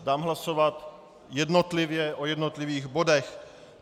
Dám hlasovat jednotlivě o jednotlivých bodech.